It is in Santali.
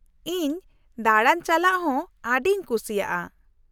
-ᱤᱧ ᱫᱟᱲᱟ ᱪᱟᱞᱟᱜ ᱦᱚᱸ ᱟᱹᱰᱤᱧ ᱠᱩᱥᱤᱭᱟᱜᱼᱟ ᱾